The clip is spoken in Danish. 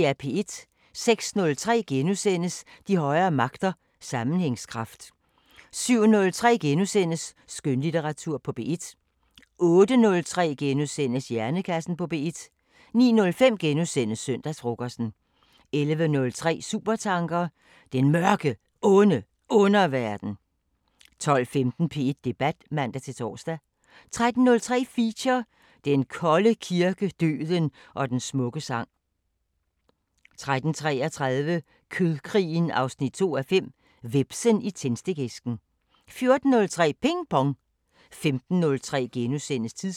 06:03: De højere magter: Sammenhængskraft * 07:03: Skønlitteratur på P1 * 08:03: Hjernekassen på P1 09:05: Søndagsfrokosten * 11:03: Supertanker: Den Mørke, Onde Underverden 12:15: P1 Debat (man-tor) 13:03: Feature: Den Kolde kirke, døden og den smukke sang 13:33: Kødkrigen 2:5 – Hvepsen i tændstikæsken 14:03: Ping Pong 15:03: Tidsånd *